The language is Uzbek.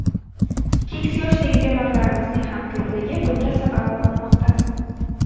Keksa yoshdagi bemorlarimizning ham ko‘pligi bunga sabab bo‘lmoqda.